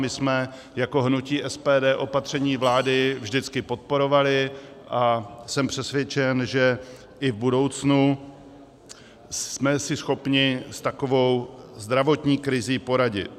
My jsme jako hnutí SPD opatření vlády vždycky podporovali a jsem přesvědčen, že i v budoucnu jsme si schopni s takovou zdravotní krizí poradit.